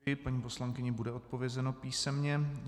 Paní poslankyni bude odpovězeno písemně.